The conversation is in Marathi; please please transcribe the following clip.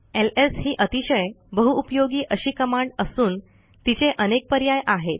एलएस ही अतिशय बहुउपयोगी अशी कमांड असून तिचे अनेक पर्याय आहेत